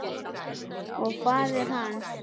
Og faðir hans?